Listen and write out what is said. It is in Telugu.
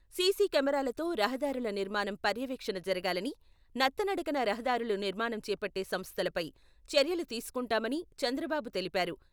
సీసీ కెమెరాలతో రహదారుల నిర్మాణం పర్యవేక్షణ జరగాలని, నత్తనడకన రహదారుల నిర్మాణం చేపట్టే సంస్థలపై చర్యలు తీసుకుంటామని చంద్రబాబు తెలిపారు.